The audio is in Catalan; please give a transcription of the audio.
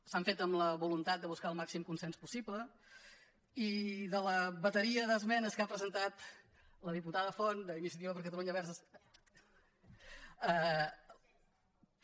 s’han fet amb la voluntat de buscar el màxim consens possible i de la bateria d’es·menes que ha presentat la diputada font d’iniciativa per catalunya verds · esquerra unida i alternativa